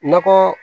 Nakɔ